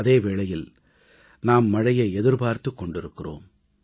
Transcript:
அதே வேளையில் நாம் மழையை எதிர்பார்த்துக் கொண்டிருக்கிறோம்